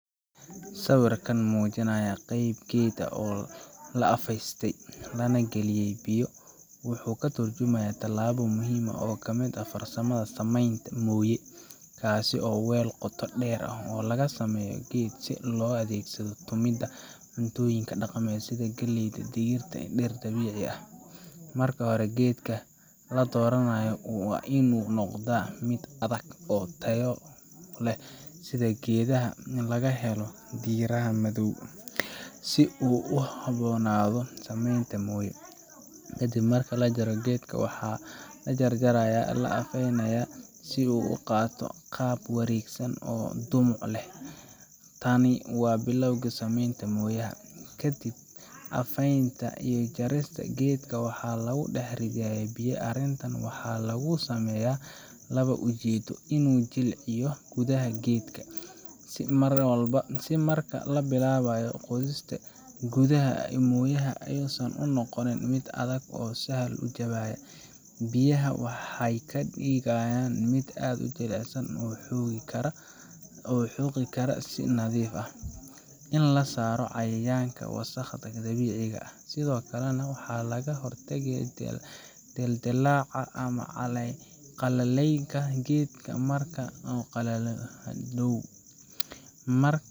Sawirka muujinaya qayb geed ah oo la afaystay lana geliyay biyo wuxuu ka tarjumayaa tallaabo muhiim ah oo ka mid ah farsamada samaynta mooye – kaas oo ah weel qoto dheer oo laga sameeyo geed si loogu adeegsado tumidda cuntooyin dhaqameed sida galley, digir, iyo dhir dabiici ah. Marka hore, geedka la dooranayo waa inuu noqdaa mid adag oo tayo leh sida geedaha laga helo dhiraha madow , si uu ugu habboonaado samaynta mooye. Ka dib marka la jaro, geedka waxaa la jarjarayaa oo la afaynayaa si uu u qaato qaab wareegsan ama dhumuc leh. Tani waa bilowga samaynta mooyaha. Ka dib afaynta iyo jarista, geedka waxaa lagu dhex ridayaa biyo arrintan waxaa lagu sameeyaa laba ujeeddo: In la jilciyo gudaha geedka, si marka la bilaabayo qodista gudaha ee mooyaha aysan u noqon mid adag oo sahal ku jabaya. Biyaha waxay ka dhigaan mid aad u jilicsan oo la xoqi karo si nadiif ah. In laga saaro cayayaanka iyo wasakhda dabiiciga ah, sidoo kalena in laga hortago dildillaaca ama qallaylka geedka marka uu qalalo hadhow